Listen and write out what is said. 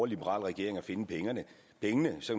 liberal regering at finde pengene så